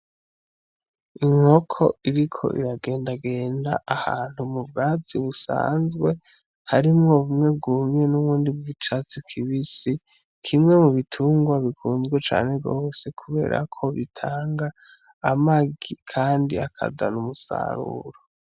Inkoko iriko iragendagenda ahantu mu bwatsi busanzwe harimwo bumwe bwumye n'icatsi kibisi, kimwe mu bitungwa bikunzwe cane gose kubera ko bitanga amagi kandi akazana umusaruro.